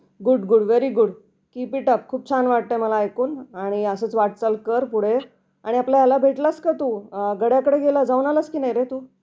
Good good very good keep it up खूप छान वाटतं मला ऐकून आणि असंच वाटचाल कर पुढे. आणि आपल्या याला भेटला का तू गड्याकडे गेला जाऊन आलास की नाही रे तू.